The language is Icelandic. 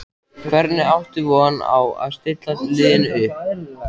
Hvernig áttu von á að stilla liðinu upp?